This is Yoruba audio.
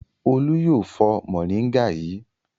Olú yóò fọ mòríngà yìí!